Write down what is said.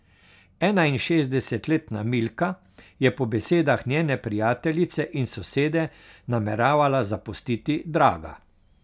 Enainšestdesetletna Milka je po besedah njene prijateljice in sosede nameravala zapustiti Draga.